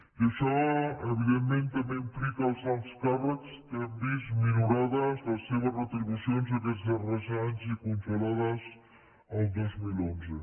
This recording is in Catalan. i això evidentment també implica els alts càrrecs que han vist minorades les seves retribucions aquests darrers anys i congelades el dos mil onze